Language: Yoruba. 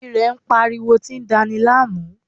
Irè ń pariwo tí ń dani láàmú